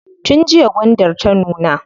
Tun jiya gwandar ta nuna.